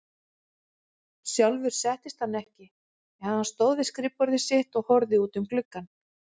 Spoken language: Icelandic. Sjálfur settist hann ekki, en stóð við skrifborðið sitt og horfði út um gluggann.